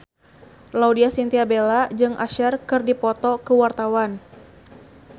Laudya Chintya Bella jeung Usher keur dipoto ku wartawan